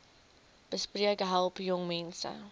besp help jongmense